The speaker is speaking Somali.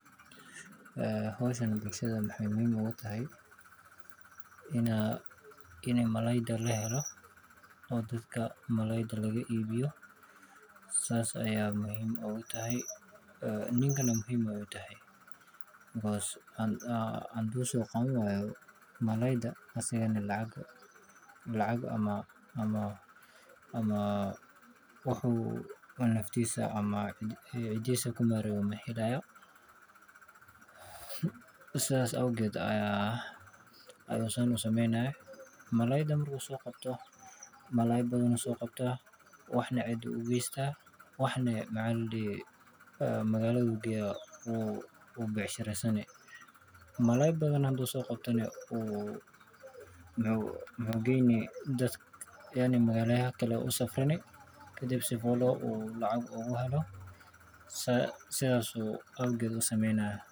Hawshan maxay bulshada muhiim ugu tahay In malaayga la helo oo dadka malaayga laga iibiyo, sidaas ayay muhiim ugu tahay. Ninkana waa muhiim u tahay because haddii uu soo qaban waayo malaaydu, asagana lacag ama wax uu naftiisa ku maareeyo ma helayo. Sidaas awgeed ayuu u sameynayaa. Malaayga marka uu soo qabto, malaay badan buu soo qabtaa, waxna cidda ayuu geystaa, waxna magaalada ayuu geeyaa oo ku baayacmushtaraa. Malaay badan hadduu soo qabtana, magaalooyinka kale ayuu u safraa kadib si uu lacag ugu helo. Sidaas awgeed ayuu u sameynayaa.